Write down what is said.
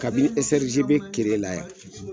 Kabini SRGB kereye la yan